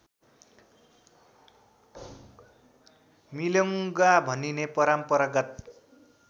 मिलोङ्गा भनिने परम्परागत